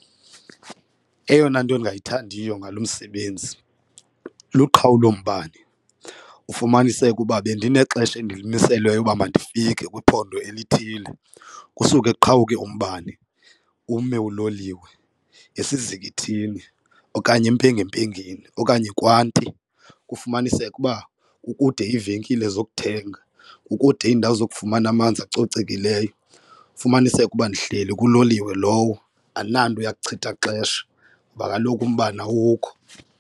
Eyona nto ndingayithandiyo ngalo msebenzi luqhawulo mbane ufumaniseke uba bendinexesha endilimiselweyo uba mandifike kwiphondo elithile kusuke kuqhawuke umbane ume uloliwe esizikithini okanye empengempengeni okanye kwanti. Kufumaniseke uba kukude iivenkile zokuthenga, kukude iindawo zokufumana amanzi acocekileyo, ufumaniseke uba ndihleli kuloliwe lowo andinanto yakuchitha xesha ngoba kaloku umbane awukho.